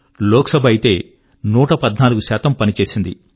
లోక్ సభ అయితే 114 పని చేసింది